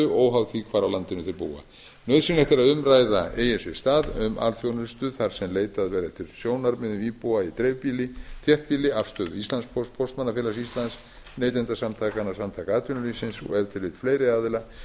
því hvar á landinu þeir búa nauðsynlegt er að umræða eigi sér stað um alþjónustu þar sem leitað verði til sjónarmiða íbúa í dreifbýli þéttbýli afstöðu íslandspósts póstmannafélags íslands neytendasamtakanna samtaka atvinnulífsins og ef til vill fleiri aðila